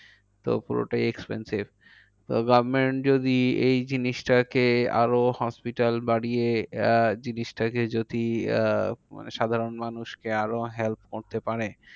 তো পুরোটাই expensive. তো government যদি এই জিনিসটাকে আরো hospital বাড়িয়ে আহ জিনিসটাকে যদি আহ মানে সাধারণ মানুষকে আরো help করতে পারে।